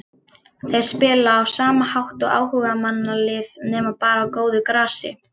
Þeir spila á sama hátt og áhugamannalið nema bara á góðu grasi.